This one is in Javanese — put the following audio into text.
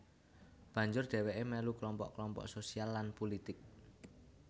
Banjur dhèwèké melu klompok klompok sosial lan pulitik